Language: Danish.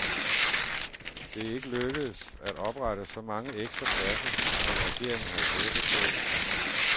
Det er ikke lykkedes at oprette så mange ekstra pladser, som regeringen havde håbet.